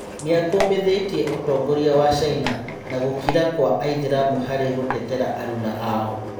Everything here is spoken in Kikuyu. Nĩ akũmithĩ tie ũtongoria wa Caina na gũkira gwa aithĩ ramu harĩ gũtetera aruna ao.